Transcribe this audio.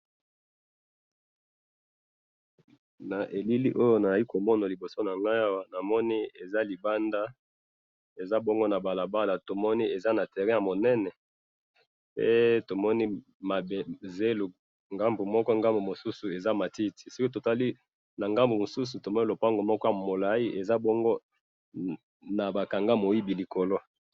Na moni balabala monene ya zelo, pembeni nango mwa matiti na pembeni nango lopango eza na kati ndako.